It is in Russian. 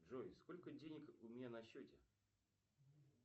джой сколько денег у меня на счете